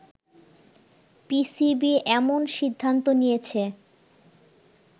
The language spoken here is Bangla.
পিসিবি এমন সিদ্ধান্ত নিয়েছে